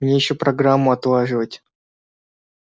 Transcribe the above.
мне ещё программу отлаживать